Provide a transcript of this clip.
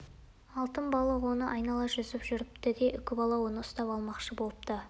алтын балық оны айнала жүзіп жүріпті де үкібала оны ұстап алмақшы болыпты